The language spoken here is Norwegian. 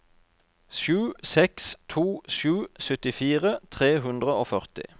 sju seks to sju syttifire tre hundre og førti